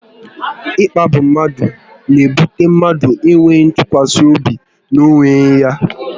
Ịkpagbu mmadụ n'ebute mmadụ enweghị ntụkwasị obi n'onwe ya